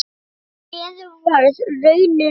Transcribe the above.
Því miður varð raunin önnur.